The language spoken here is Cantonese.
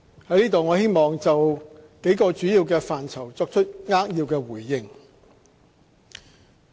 在此我希望就幾個主要範疇作出扼要回應。